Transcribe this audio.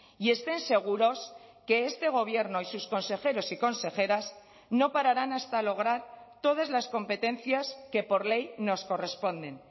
y estén seguros que este gobierno y sus consejeros y consejeras no pararán hasta lograr todas las competencias que por ley nos corresponden